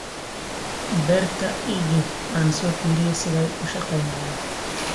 Beerta iigex aan soofiriye sidhay uushagenayan.